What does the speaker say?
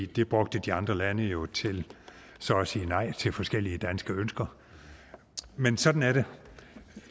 det brugte de andre lande jo til så at sige nej til forskellige danske ønsker men sådan er det